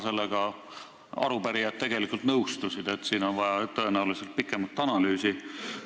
Sellega arupärijad tegelikult nõustusid – siin on tõenäoliselt vaja pikemat analüüsi.